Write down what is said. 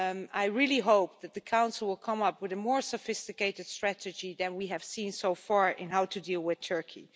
I really hope that the Council will come up with a more sophisticated strategy than we have seen so far in how to deal with Turkey.